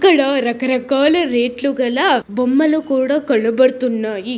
ఇక్కడ రకరకాల రేట్ ల గలా బొమ్మలు కూడా కనడపుతున్నాయి.